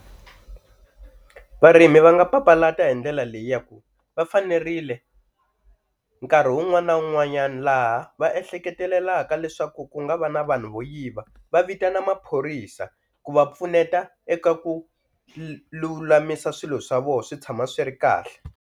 Varimi va nga papalata hi ndlela leyi ya ku va fanerile nkarhi wun'wana na wun'wanyana laha va ehleketelelaka leswaku ku nga va na vanhu vo yiva va vitana maphorisa ku va pfuneta eka ku lulamisa swilo swa vona swi tshama swi ri kahle.